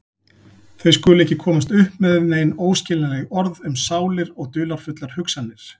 Þau skulu ekki komast upp með nein óskiljanleg orð um sálir og dularfullar hugsanir.